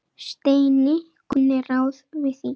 Steini kunni ráð við því.